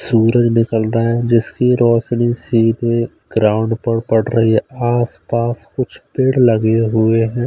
सूरन निकलता है जिसकी रोशनी सीधे ग्राउंड पर पड़ रही है आस-पास कुछ पेड़ लगे हुए हैं।